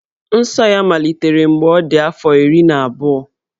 Nsọ ya malitere mgbe ọ dị afọ iri na abụọ.